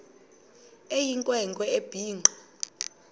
eyinkwe nkwe ebhinqe